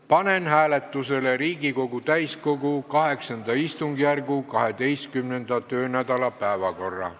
Panen hääletusele Riigikogu täiskogu VIII istungjärgu 12. töönädala päevakorra.